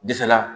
Disala